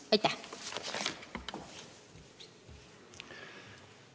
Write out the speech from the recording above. Aitäh!